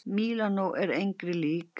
Mílanó er engri lík!!